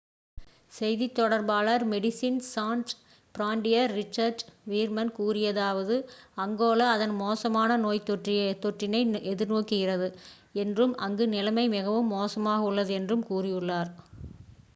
"செய்தித் தொடர்பாளர் Medecins Sans Frontieres Richard Veerman கூறியதாவது: "அங்கோலா அதன் மோசமான நோய்த் தொற்றினை எதிர்நோக்குகிறது என்றும் அங்கு நிலைமை மிகவும் மோசமாக உள்ளது," என்றும் கூரியுள்ளார்.